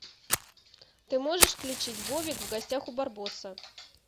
ты можешь включить бобик в гостях у барбоса